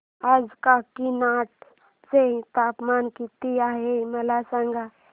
आज काकीनाडा चे तापमान किती आहे मला सांगा